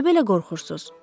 Niyə belə qorxursuz?